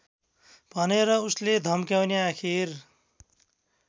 भनेर उसले धम्क्याउने आखिर